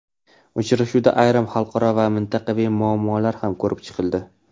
Uchrashuvda ayrim xalqaro va mintaqaviy muammolar ham ko‘rib chiqildi.